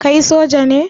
Kai soja ne?